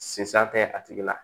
Sinzan tɛ a tigi la